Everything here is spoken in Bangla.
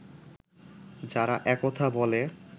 যারা একথা বলে